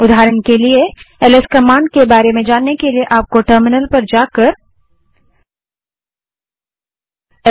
उदाहरण के लिए एलएस कमांड के बारे में जानने के लिए आपको टर्मिनल पर जाना पड़ेगा